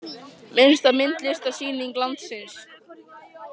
Minnsta myndlistarsýning landsins.